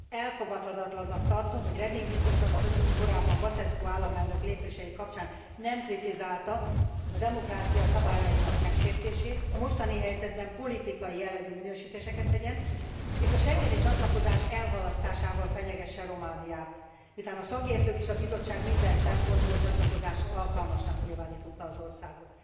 Elfogadhatatlannak tartom, hogy Reding biztos asszony, aki korábban Basescu államelnök lépései kapcsán nem kritizálta a demokrácia szabályainak megsértését, a mostani helyzetben politikai jellegű minősítéseket tegyen, és a schengeni csatlakozás elhalasztásával fenyegesse Romániát, miután a szakértők és a Bizottság minden szempontból csatlakozásra alkalmasnak nyilvánította az országot.